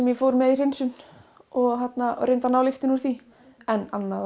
ég fór með í hreinsun og reyndi að ná lyktinni úr því en annað